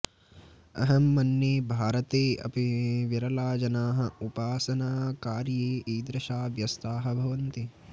अहं मन्ये भारते अपि विरलाजनाः उपासनाकार्ये इदृशाः व्यस्ताः भवन्ति